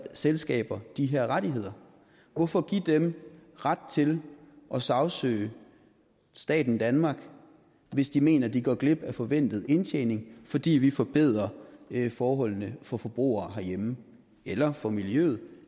selskaber de her rettigheder hvorfor give dem ret til at sagsøge staten danmark hvis de mener at de går glip af en forventet indtjening fordi vi forbedrer forholdene for forbrugere herhjemme eller for miljøet